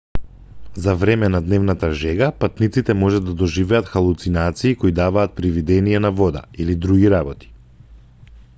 за време на дневната жега патниците може да доживеат халуцинации кои даваат привидение на вода или други работи